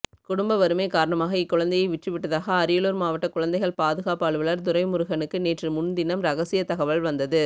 குடும்ப வறுமை காரணமாக இக்குழந்தையை விற்றுவிட்டதாக அரியலூர் மாவட்ட குழந்தைகள் பாதுகாப்பு அலுவலர் துரைமுருகனுக்கு நேற்றுமுன்தினம் ரகசிய தகவல் வந்தது